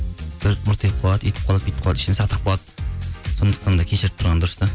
бұртиып қалады үйтіп қалады бүйтіп қалады ішіне сақтап қалады сондықтан да кешіріп тұрған дұрыс та